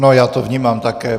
No, já to vnímám také.